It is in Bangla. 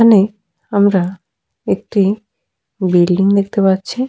এখানে আমরা একটি বিল্ডিং দেখতে পাচ্ছি ।